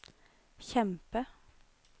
kjempe